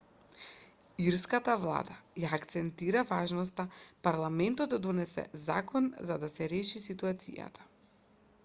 ирската влада ја акцентира важноста парламентот да донесе закон за да се реши ситуацијата